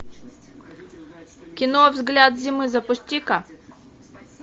кино взгляд зимы запусти ка